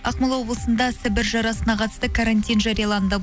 ақмола облысында сібір жарасына қатысты карантин жарияланды